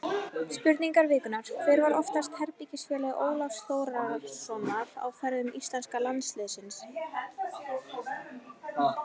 Spurning vikunnar: Hver var oftast herbergisfélagi Ólafs Þórðarsonar á ferðum íslenska landsliðsins?